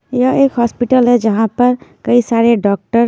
यह एक हॉस्पिटल है जहां पर कई सारे डॉक्टर --